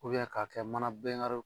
k'a kɛ mana bɛŋariw